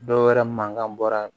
Dɔwɛrɛ mankan bɔra